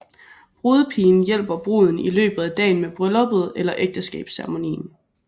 Brudepigen hjælper bruden i løbet af dagen med brylluppet eller ægteskabsceremonien